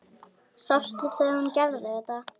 Sástu þegar hún gerði þetta?